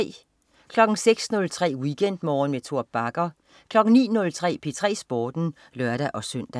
06.03 WeekendMorgen med Tor Bagger 09.03 P3 Sporten (lør-søn)